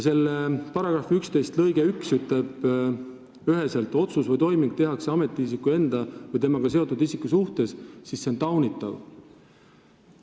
Selle § 11 lõige 1 ütleb üheselt, et kui otsus või toiming tehakse ametiisiku enda või temaga seotud isiku suhtes, siis see on taunitav.